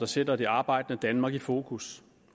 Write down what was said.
sætter det arbejdende danmark i fokus